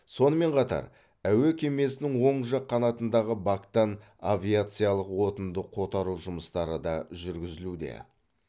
сонымен қатар әуе кемесінің оң жақ қанатындағы бактан авиациялық отынды қотару жұмыстары да жүргізілуде